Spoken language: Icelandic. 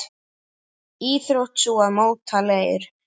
Íþrótt sú að móta leir.